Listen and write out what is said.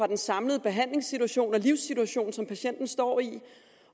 den samlede behandlingssituation og livssituation som patienten står i